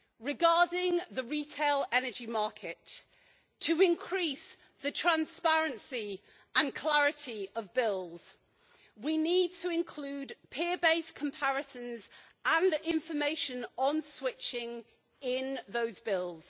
Regarding the retail energy market, to increase the transparency and clarity of bills, we need to include peer based comparisons and information on switching in those bills.